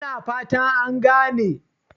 Ina fata an gane?